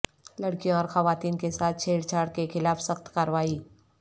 لڑکیوں اور خواتین کے ساتھ چھیڑ چھاڑ کیخلاف سخت کارروائی